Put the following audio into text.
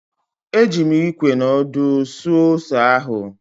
Eji m Ikwe na ọdụ tụọ ose ahụ.